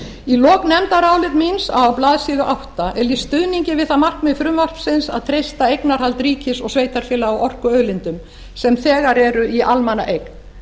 í lok nefndarálits míns á blaðsíðu átta er lýst stuðningi við það markmið frumvarpsins að treysta eignarhald ríkis og sveitarfélaga á orkuauðlindum sem þegar eru í almannaeign